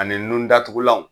Ani nun datugulanw